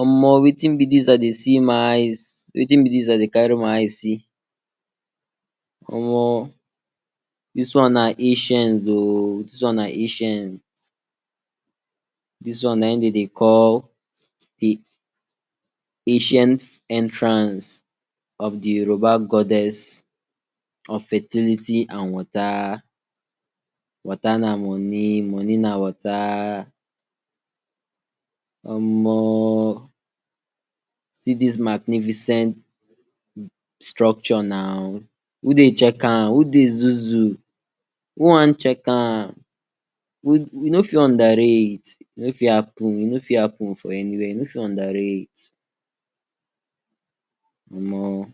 Omo wetin be dis i deysee my eyes, wetin be dis I dey kari my eyes see? Omo! Dis one na acent o, dis one na acient, dis one na in dem dey call de acient entrance of di Yoruba goddess and fertility and wota, wota na moni, moni na wota. omo see dis magnificient structure na, who dey chek am, who dey zuu-zuu? Who wan chek am, you no fit under rate. E no fit happen, e no fit hapen for eni where, you no fit under rate. Omo,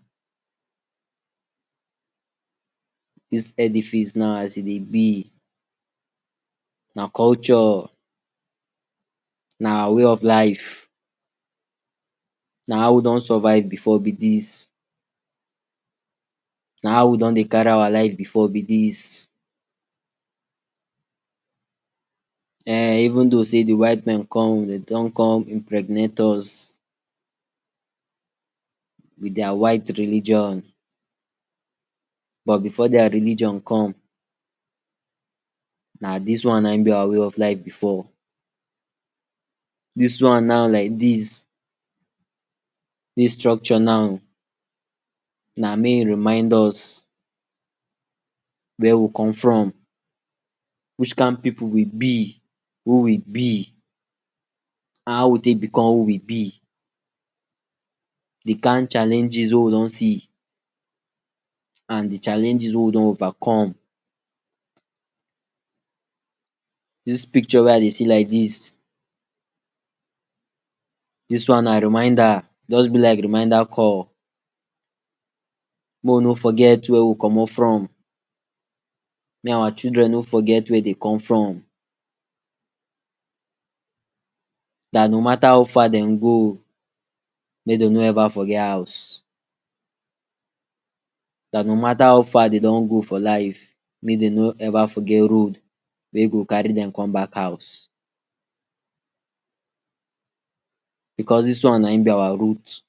dis ediface now as e dey be, na culture, na way of life, na how we don survive before be dis, na how we don dey kari our life be dis. E even though di white man den don impregnate us with dia white religion, but before dia religion come, na dis one na in be our way of life before. Dis one now like dis, dis structure now na mey remind us where we come from, wich kind pipu we be, who we be, how we take become who we be, di kind challenges wey we don see and di challenges wey we don overcome. Dis pikcho wey I dey see like dis, dis one na reminda, e just be like reminda call. Mey we no forget where we commot from, mey our children no forget where dey come from, dat no mata how far dem go, make dem no foget hous. Da no mata how far dem don go for life, make dem no eva foget road wey go kari dem come bak house. Becos dis one na in be our root.